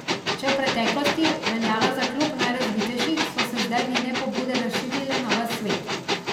Če je v preteklosti veljala za klub najrazvitejših, so se zdaj njene pobude razširile na ves svet.